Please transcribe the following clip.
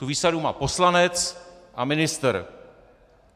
Tu výsadu má poslanec a ministr.